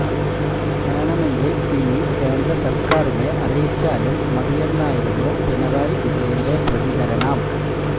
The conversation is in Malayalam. വേണമെങ്കില് ഇനി കേന്ദ്ര സര്ക്കാരിനെ അറിയിച്ചാലും മതിയെന്നായിരുന്നു പിണറായി വിജയന്റെ പ്രതികരണം